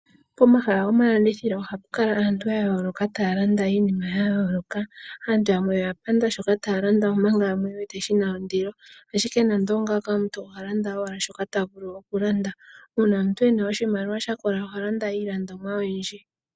Pomahala gomalandithilo oha pukala aantu yayoloka taya yalanda iinima yayoloka aantu yamwe oya panda shoka taya landa manga yamwe oyuuvite shina ondilo ashike nando ongaka omuntu ohalanda owala shoka tavulu okulanda uuna omuntu oyena oshimaliwa shakola ohalanda iilandonwa oyindji.